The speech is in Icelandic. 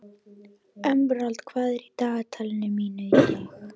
Emerald, hvað er í dagatalinu mínu í dag?